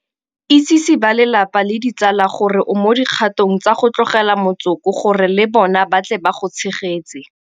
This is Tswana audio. Itsese balelapa le ditsala gore o mo dikgatong tsa go tlogela motsoko gore le bona ba tle ba go tshegetse.